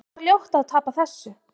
Það var ljótt að tapa þessu.